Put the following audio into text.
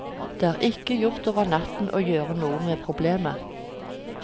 Det er ikke gjort over natten å gjøre noe med problemet.